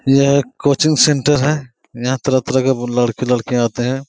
यह एक coaching centre है यहाँ पे तरह तरह के लड़के लडकियाँ आते हैं।